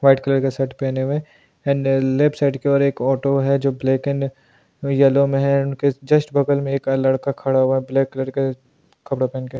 White colour का shirt पहने हुए एंड लेफ्ट साइड के और एक ऑटो है जो ब्लैक एंड येलो में है उनके जस्ट बगल में एक लड़का खड़ा हुआ ब्लैक कलर का कपड़ा पहन के।